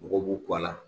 Mɔgɔw b'u kɔ a la